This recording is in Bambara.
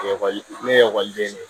Ekɔli ne ekɔliden ye